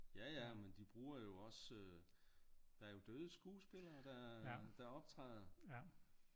Ja ja men de bruger jo også der er jo døde skuespillere der optræder